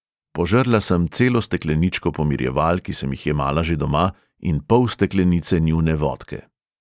Požrla sem celo stekleničko pomirjeval, ki sem jih jemala že doma, in pol steklenice njune vodke.